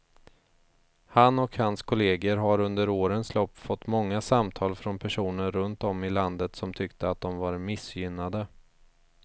Han och hans kolleger har under årens lopp fått många samtal från personer runt om i landet som tyckte att de var missgynnade.